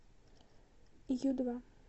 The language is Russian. ю два